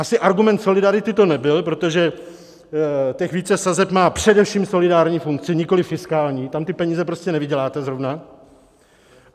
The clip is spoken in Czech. Asi argument solidarity to nebyl, protože těch více sazeb má především solidární funkce, nikoliv fiskální, tam ty peníze prostě nevyděláte zrovna.